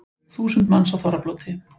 Þúsund manns á þorrablóti